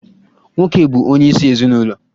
Nwoke bụ onye isi ezinụlọ.